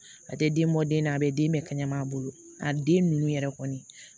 A tɛ den bɔ den na a bɛ den bɛɛ kɛnɛ a bolo a den ninnu yɛrɛ kɔni